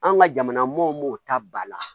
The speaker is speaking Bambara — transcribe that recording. An ka jamana mɔmɔw m'o ta ba la